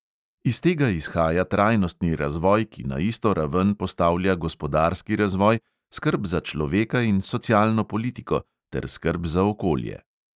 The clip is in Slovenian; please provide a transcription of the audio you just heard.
Iz tega izhaja trajnostni razvoj, ki na isto raven postavlja gospodarski razvoj, skrb za človeka in socialno politiko ter skrb za okolje.